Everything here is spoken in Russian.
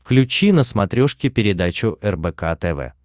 включи на смотрешке передачу рбк тв